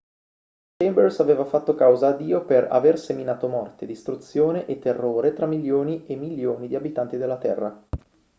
chambers aveva fatto causa a dio per aver seminato morte distruzione e terrore tra milioni e milioni di abitanti della terra